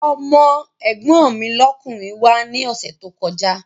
Ọmọ́ ẹ̀gbọ́n mi lọ́kùnrin wá ní ọ̀sẹ̀ tó kọjá